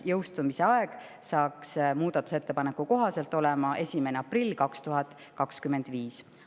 Jõustumise aeg on muudatusettepaneku kohaselt 1. aprill 2025.